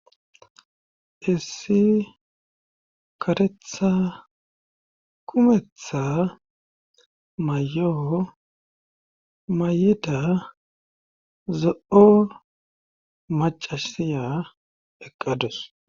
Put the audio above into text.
Issi katetha kumetha mayoo may'ida zo'o macasiya eqqados.